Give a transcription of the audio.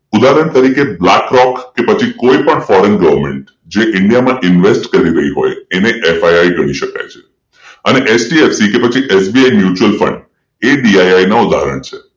ઉદાહરણ તરીકે Black Rock Foreign Government જે ઇન્ડિયામાં ઇન્વેસ્ટ કરી રહી હોય એને FIS કહી શકાય અને પછી HDFC bank SBI mutual fund BII નો ઉદાહરણ છે